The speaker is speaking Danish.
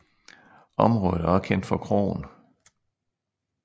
Området er også kendt for kroen